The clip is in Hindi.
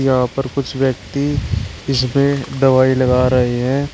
यहां पर कुछ व्यक्ति इसमें दवाई लगा रहे हैं।